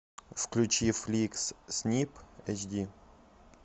включи фликс снип эйчди